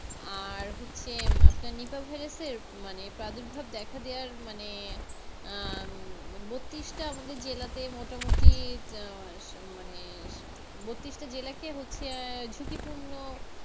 আর হচ্ছে আপনার নিপা ভাইরাসের মানে প্রাদুর্ভাব দেখা দেওয়ার মানে আহ উম বত্রিশটা আমাদের জেলাতে মোটামুটি আহ মানে বত্রিশটা জেলা কি হচ্ছে আর ঝুকিপুর্ন?